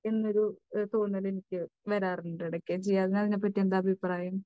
എന്നൊരു തോന്നൽ എനിക്ക് വരാറുണ്ട് ഇടയ്ക്ക്. ജിയാദിന് അതിനെ പറ്റി എന്താ അഭിപ്രായം?